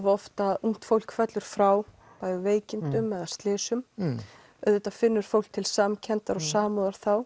oft að ungt fólk fellur frá í veikindum eða slysum auðvitað finnur fólk til samkenndar og samúðar þá